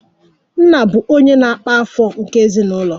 Nna bụ onye na-akpa afọ nke ezinụlọ